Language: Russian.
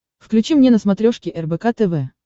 включи мне на смотрешке рбк тв